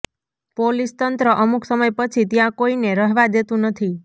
police તંત્ર અમુક સમય પછી ત્યાં કોઇને રહેવા દેતુ નથી